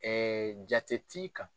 jate t'i kan.